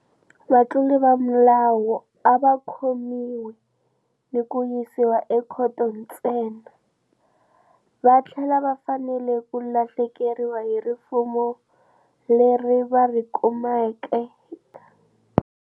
Vatluri va milawu a va khomiwi ni ku yisiwa ekhoto ntsena, va tlhela va fanele ku lahlekeriwa hi rifuwo leri va ri kumeke.